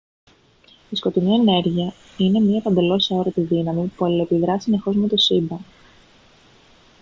η σκοτεινή ενέργεια είναι μια παντελώς αόρατη δύναμη που αλληλεπιδρά συνεχώς με το σύμπαν